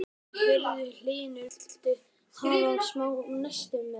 Ónefnd kona: Heyrðu Hlynur, viltu hafa smá nesti með?